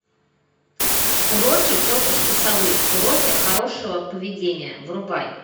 уроки тетушки совы уроки хорошего поведения врубай